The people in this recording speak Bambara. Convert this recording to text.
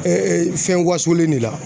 fɛn wasolen de la